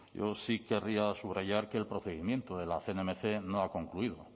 sí querría subrayar que el procedimiento de la cnmc no ha concluido